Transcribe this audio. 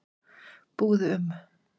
Búðu um